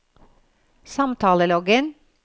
samtaleloggen